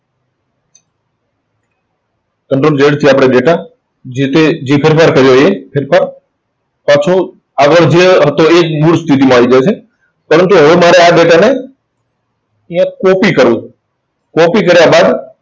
control Z થી આપણે data જે-તે જે કર્યો એ data પાછળ આગળ જે હતો એ જ મૂળ સ્થિતિમાં આવી જાય છે. પરંતુ હવે મારે આ data ને અહીંયા copy કરવો છે. Copy કાર્ય બાદ